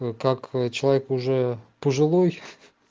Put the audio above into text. как человек уже пожилой